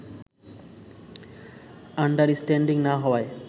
understanding না হওয়ায়